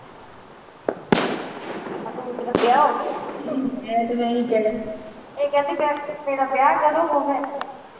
ਵਿਆਹ ਹੋਗੀ ਇਹ ਕਹਿੰਦੀ ਮੇਰਾ ਵਿਆਹ ਕਾਤੋਂ ਹੋਗਿਆ